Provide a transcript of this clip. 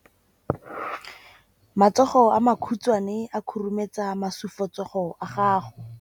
Matsogo a makhutshwane a khurumetsa masufutsogo a gago.